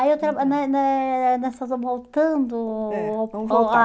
Aí eu trabalho... não é não é Nós estamos voltando... É. Vamos voltar.